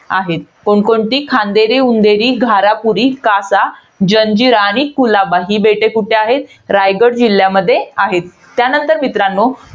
आहेत. कोणकोणती? खांदेरी उंदेरी, घारापुरी, कासा, जंजिरा आणि कुलाबा. ही बेटे कुठे आहेत? रायगड जिल्ह्यामध्ये आहेत. त्यानंतर मित्रांनो,